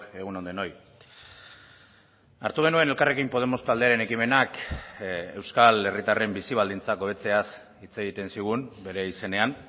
egun on denoi hartu genuen elkarrekin podemos taldearen ekimenak euskal herritarren bizi baldintzak hobetzeaz hitz egiten zigun bere izenean